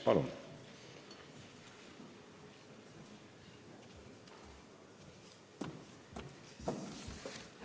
Palun!